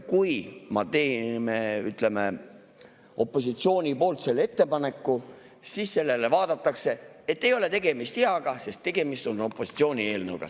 Kui ma teen, ütleme, opositsiooni poolt selle ettepaneku, siis sellele vaadatakse, et ei ole tegemist hea, sest tegemist on opositsiooni.